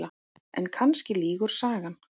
En kannski lýgur sagan.